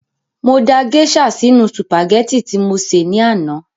Mo da gèésà sínu sùpàgẹ́tì tí mo sè ní àná